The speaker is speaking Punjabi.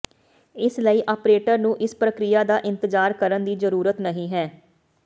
ਇਸ ਲਈ ਆਪਰੇਟਰ ਨੂੰ ਇਸ ਪ੍ਰਕਿਰਿਆ ਦਾ ਇੰਤਜ਼ਾਰ ਕਰਨ ਦੀ ਜ਼ਰੂਰਤ ਨਹੀਂ ਹੈ